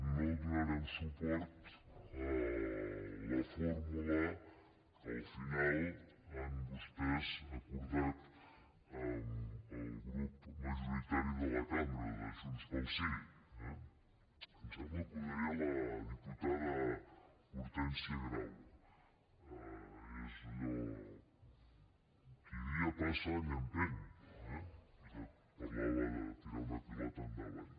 no donarem suport a la fórmula que al final han vostès acordat amb el grup majoritari de la cambra de junts pel sí eh em sembla que ho deia la diputada hortènsia grau és allò qui dia passa any empeny ella parlava de tirar una pilota endavant